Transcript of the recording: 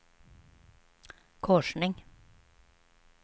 korsning